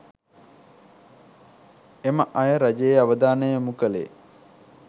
එම අය රජයේ අවධානය යොමු කළේ